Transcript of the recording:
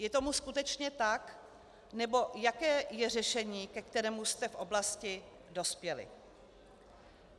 Je tomu skutečně tak, nebo jaké je řešení, ke kterému jste v oblasti dospěli?